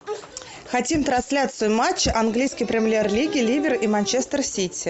хотим трансляцию матча английской премьер лиги ливер и манчестер сити